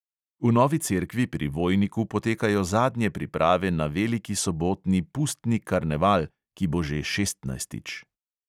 V novi cerkvi pri vojniku potekajo zadnje priprave na veliki sobotni pustni karneval, ki bo že šestnajstič.